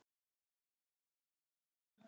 Verð þarf að hækka